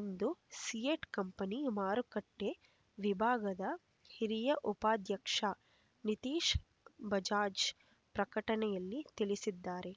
ಎಂದು ಸಿಯೆಟ್ ಕಂಪನಿ ಮಾರುಕಟ್ಟೆ ವಿಭಾಗದ ಹಿರಿಯ ಉಪಾಧ್ಯಕ್ಷ ನಿತೀಶ್ ಬಜಾಜ್ ಪ್ರಕಟಣೆಯಲ್ಲಿ ತಿಳಿಸಿದ್ದಾರೆ